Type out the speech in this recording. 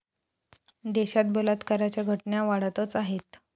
देशात बलात्काराच्या घटना वाढतच आहेत.